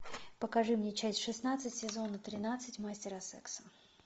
покажи мне часть шестнадцать сезона тринадцать мастера секса